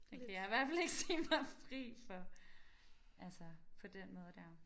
Det kan jeg i hvert fald ikke sige mig fri for altså på den måde der